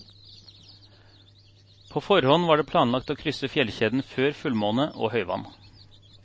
På forhånd var det planlagt å krysse fjellkjeden før fullmåne og høyvann.